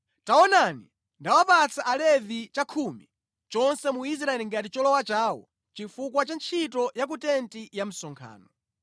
“Taonani, ndawapatsa Alevi chakhumi chonse mu Israeli ngati cholowa chawo chifukwa cha ntchito ya ku tenti ya msonkhano.